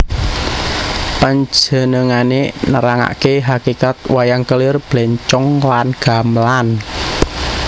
Panjenengané nerangaké hakikat wayang kelir blencong lan gamelan